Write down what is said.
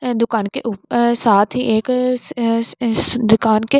ये दुकान के ऊप अं साथ ही एक स अस दुकान के--